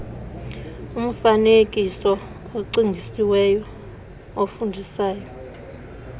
umfaneekiso ocingisisiweyo ofundisayo